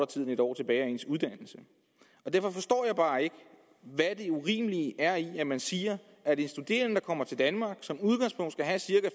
tid end en år tilbage af ens uddannelse derfor forstår jeg bare ikke hvad det urimelige er i at man siger at en studerende som kommer til danmark som udgangspunkt skal have cirka